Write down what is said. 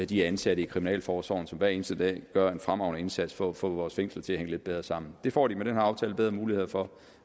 de ansatte i kriminalforsorgen som hver eneste dag gør en fremragende indsats for at få vores fængsler til at hænge lidt bedre sammen det får de med den her aftale bedre muligheder for